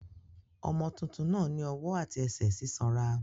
Ọmọ tuntun náà ní ọwọ́ àti ẹsẹ̀ sísanra.